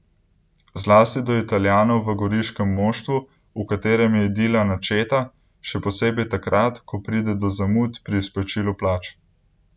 Zlasti do Italijanov v goriškem moštvu, v katerem je idila načeta, še posebej takrat, ko pride do zamud pri izplačilu plač.